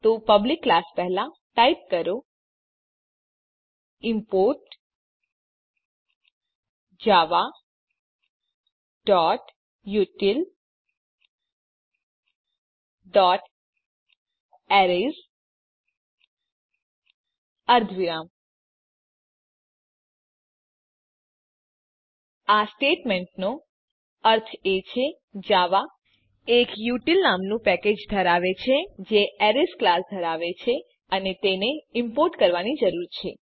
તો public class પહેલા type કરો ઇમ્પોર્ટ javautilએરેઝ અર્ધવિરામ આ સ્ટેટમેંટનો અર્થ એ છે કે જાવા એક ઉતિલ નામનું પેકેજ ધરાવે છે જે એરેઝ ક્લાસ ધરાવે છે અને તેને ઈમ્પોર્ટ કરવાની જરૂર છે